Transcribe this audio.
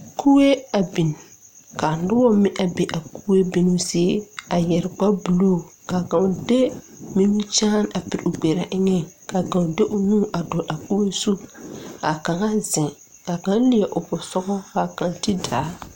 Kuee a bin kaa nobɔ mine be a kuee bin zie a yɛre kparebluu kaa kaŋ de nimikyaane a poroo gberaa eŋɛŋ kaa kaŋ de o nu a dɔɔle a koge zu kaa kaŋa zeŋ kaŋ leɛ o posugɔ kaŋ ti daa.